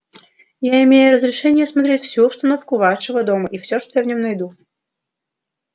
я имею разрешение осмотреть всю обстановку вашего дома и всё что я в нём найду